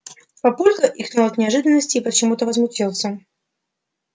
папулька икнул от неожиданности и почему-то возмутился